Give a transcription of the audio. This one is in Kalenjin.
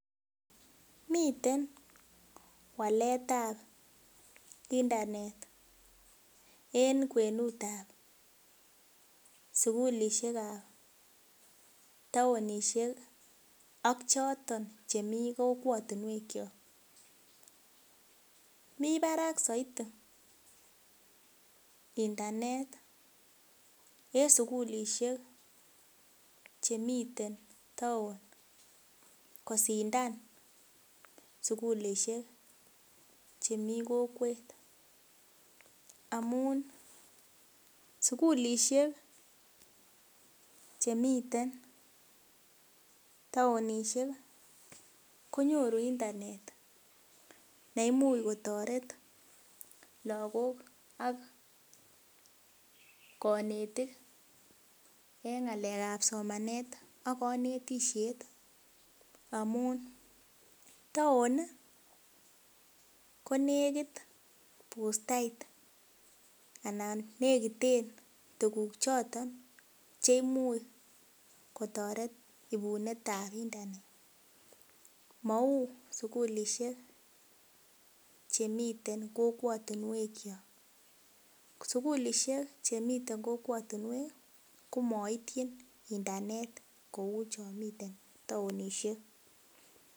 Miten waletab internet en kwenut ab sugulisiek ab taonisiek ak choton chemii kokwotinwek kyok mii barak soiti internet en sugulisiek chemiten town kosindan sugulisiek chemii kokwet amun sugulisiek chemiten taonisiek konyoru internet neimuch kotoret lagok ak konetik en ng'alek ab somanet ak konetisiet amun town konekit bustait anan nekiten tuguk choton cheimuch kotoret ibunet ab internet mou sugulisiek chemiten kokwotinwek kyok sugulisiek chemiten kokwotinwek komoityin internet kou chon miten taonisiek